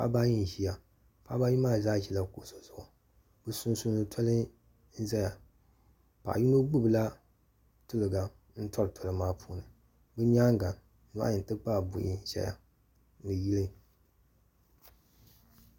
paɣaba ayi n-ʒiya paɣaba ayi maa zaa ʒila kuɣisi zuɣu bɛ sunsuuni tɔli n-ʒiya paɣ' yino gbubi la tuliga n-tɔri tɔli maa puuni bɛ nyaaga nohi n-ti pahi buhi n-ʒeya ni yili.